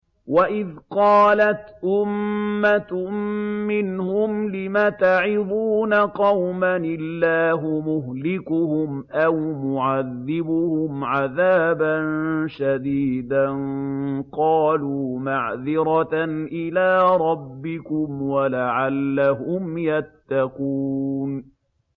وَإِذْ قَالَتْ أُمَّةٌ مِّنْهُمْ لِمَ تَعِظُونَ قَوْمًا ۙ اللَّهُ مُهْلِكُهُمْ أَوْ مُعَذِّبُهُمْ عَذَابًا شَدِيدًا ۖ قَالُوا مَعْذِرَةً إِلَىٰ رَبِّكُمْ وَلَعَلَّهُمْ يَتَّقُونَ